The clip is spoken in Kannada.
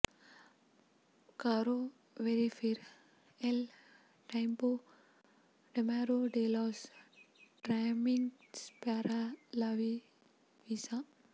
ಕಾರೋ ವೆರಿಫಿರ್ ಎಲ್ ಟೈಂಪೊ ಡೆಮೊರಾ ಡೆ ಲಾಸ್ ಟ್ರಾಮಿಟ್ಸ್ ಪ್ಯಾರಾ ಲಾ ವೀಸಾ